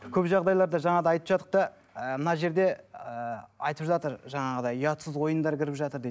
көп жағдайларда жаңа да айтып жатық та ы мына жерде ыыы айтып жатыр жаңағыдай ұятсыз ойындар кіріп жатыр дейді